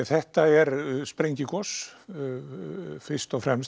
þetta er sprengigos fyrst og fremst